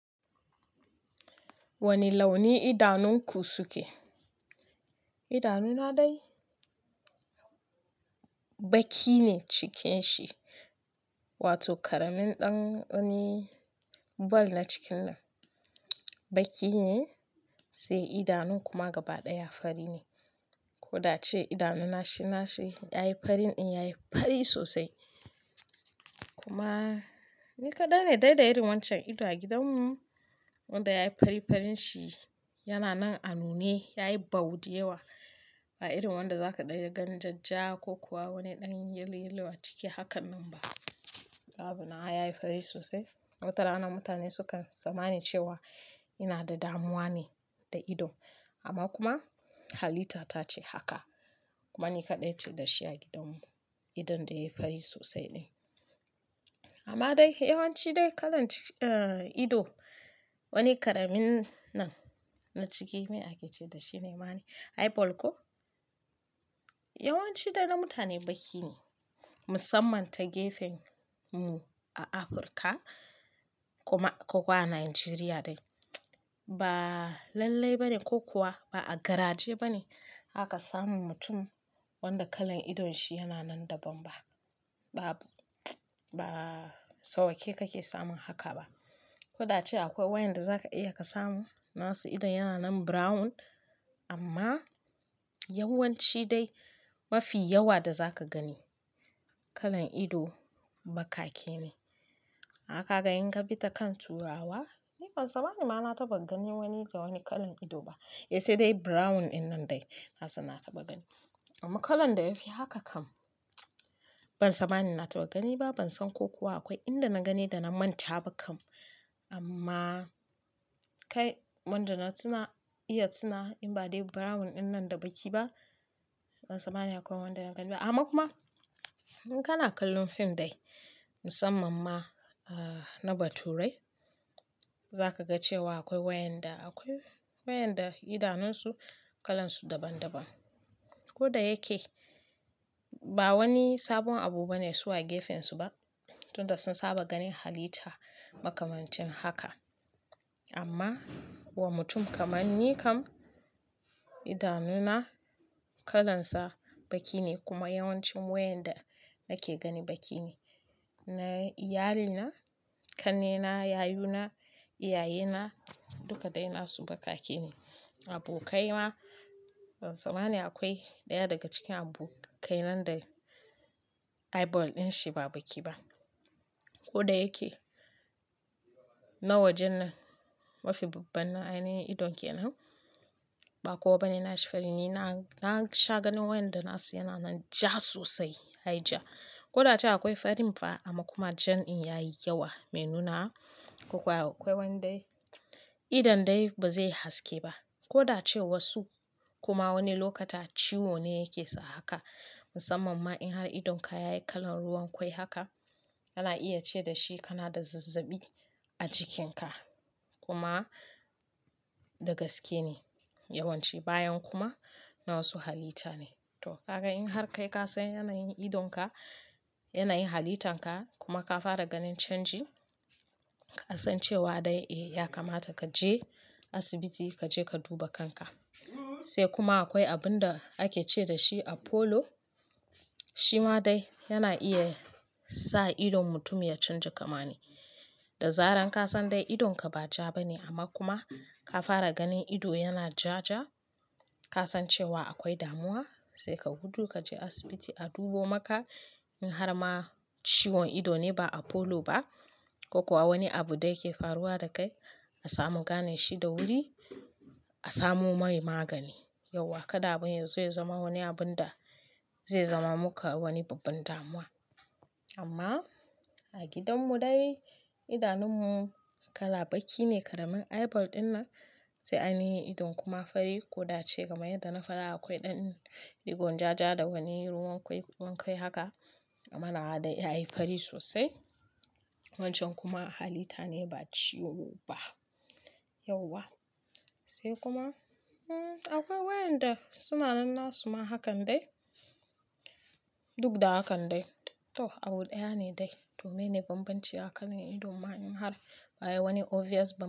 Wane launi idanunku suke? Idanuna dai baki ne cikinshi, wato ƙaramin ɗan wani ball na cikin nan. Baki ne sai idanun kuma gaba ɗaya fari ne. Ko da ce idanuna shi na shi yayi farin in ya yi fari sosai. Kuma ni kaɗai ne dai da irin wancan ido a gidanmu wanda ya yi farifarinsi. Yana nan a nune, ya yi baww da yawa, ba irin wanda zaka dan iya gan jajja ko kuwa wani ɗan yin yalo-yalo a ciki hakan nan ba. Sabo na ya yi fari sosai. Wata rana mutane sukan tsammani cewa ina da damuwa ne da idon, amma kuma halita ta ce haka. Kuma ni kaɗai ce da shi a gidanmu, idon da ya yi fari sosai dai. Amma dai yawanci dai kalan ido, wani ƙaramin nan na ciki me ake ce da shi ne ma eye ball ko? Yawanci de na mutane baki ne, musamman ta gefen mu a Afirka kuma ko kuma a Najeriya dai. Ba lallai ba ne ko kuwa ba a garaje ba ne aka samu mutum wanda kalan idon shi yana nan daban ba. Ba, ba sauƙe kake samun haka ba. Ko da ce akwai wayanda za ka iya ka samu nasu idon yana nan brown amma yawanci dai mafi yawa da za ka gani kalan ido bakake ne. Ka ga in ka bi ta kan turawa, ni ban tsammani ba na taɓa ganin wani da wani kalan ido ba. Sai dai brown ɗin nan dai nasan na taɓa gani. Amma kalan da yafi haka kam ban tsammani na taɓa gani ba. Ban san ko kuwa akwai inda na gani da na manta ba kam. Amma kai wanda na tuna iya tuna in ba dai brown ɗin nan da baki ba ban tsammani akwai wanda na gani ba. Amma kuma in ka na kallon fim dai, musamman ma na baturai, za ka ga cewa akwai wayanda akwai wayanda idanunsu kalan su daban-daban. Ko da yake ba wani sabon abu ba ne su wa gefensu ba, tunda sun saba ganin halita makamancin haka. Amma wa mutum kamar ni kam idanuna kalansa baki ne kuma yawancin wayanda nake gani baki ne. Na iyalina, ƙannena, yayuna, iyayena duka dai nasu bakake ne. Abokaina ban tsammani akwai ɗaya daga cikin abokai nan da eye ball ɗin shi ba baki ba. Ko da yake na wajen nan mafi babban ainin idon ke nan ba kowa ba ne na sha farin. Ni na sha ganin wayanda nasu yana nan ja sosai, yai ja. Ko da ce akwai farin fa amma kuma jan in yayi yawa mai nunawa ko kuwa akwai wanda idon dai ba zai haske ba. Ko da cewa su kuma wani lokuta ciwo ne yake sa haka. Musamman in har idonka yayi kalan ruwan kwai haka, ana iya ce da shi kana da zazzaɓi a jikinka. Kuma da gaske ne yawanci bayan kuma na wasu halita ne. To ka ga in har kai ka san yana yin idonka, yana yin halitanka kuma ka fara ganin canji, ka san cewa dai eh ya kamata ka je asibiti ka je ka duba kanka. Sai kuma akwai abun da ake ce da shi Apollo. Shi ma dai yana iya sa idon mutum ya canja kamani. Da zaran ka san dai idonka ba ja ba ne amma kuma ka fara ganin ido yana ja ja, ka san cewa akwai damuwa sai ka gudu ka je asibiti a dubo maka. In har ma ciwon ido ne ba Apollo ba ko kuwa wani abu daya ke faruwa da kai a samu gane shi da wuri a samu mai magani. Yauwa kada abin yanzu ya zama wani abun da zai zama muka wani babban damuwa. Amma a gidanmu dai idanunmu kala baki ne, ƙaramin eye ball ɗin nan sai ainihin idon kuma fari ko da ce kaman yadda na faɗa akwai ɗan digon ja ja da wani ruwan kwai ruwan kwai haka amma nawa dai ya yi fari sosai. Wancan kuma halita ne ba ciwo ba. Yawwa. Sai kuma akwai wayanda suna nan nasu ma hakan dai duk da hakan dai. To, abu ɗaya ne dai, to meyene bambanci a kalan idon ma in har ba wani obvious ba.